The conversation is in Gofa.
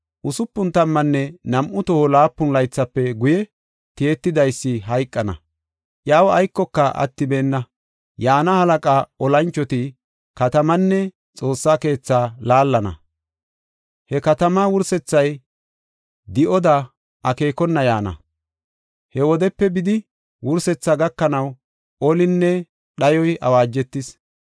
Usupun tammanne nam7u toho laapun laythafe guye Tiyetidaysi hayqana; iyaw aykoyka attibeenna. Yaana halaqa olanchoti katamaanne Xoossaa keetha laallana. He katamaa wursethay di7oda akeekona yaana. He wodepe bidi wursethi gakanaw olinne dhayoy awaajetis.